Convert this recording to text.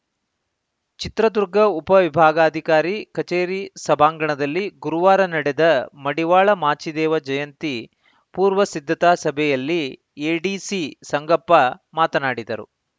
ಚಿತ್ರದುರ್ಗ ಉಪ ವಿಭಾಗಾಧಿಕಾರಿ ಕಚೇರಿ ಸಭಾಂಗಣದಲ್ಲಿ ಗುರುವಾರ ನಡೆದ ಮಡಿವಾಳ ಮಾಚಿದೇವ ಜಯಂತಿ ಪೂರ್ವ ಸಿದ್ಧತಾ ಸಭೆಯಲ್ಲಿ ಎಡಿಸಿ ಸಂಗಪ್ಪ ಮಾತನಾಡಿದರು